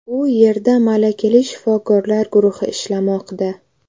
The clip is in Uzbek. U yerda malakali shifokorlar guruhi ishlamoqda.